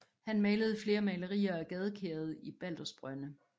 Han malede flere malerier af gadekæret i Baldersbrønde